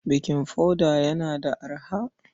Baking powder yana da arha?